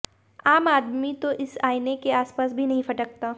आम आदमी तो इस आईने के आसपास भी नहीं फटकता